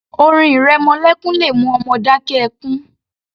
Orin ìrẹmọlékún le mú ọmọ dákẹ́ ẹkún